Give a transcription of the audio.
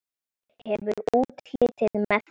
Hefur útlitið með þér.